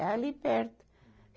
É ali perto.